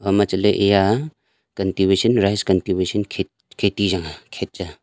aboma chatle eya cultivation rice rice cultivation khet kheti chang ah khet chang ah.